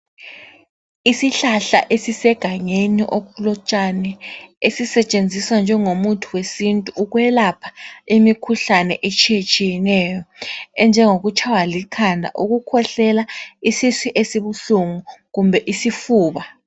Isihlahla esisegangeni okulotshani esisetshenziswa njengomuthi wesintu ukwelapha imikhuhlane etshiyetshiyeneyo enjengokutshaywa likhanda, ukukhwehlela, isisu esibuhlungu kumbe isifuba.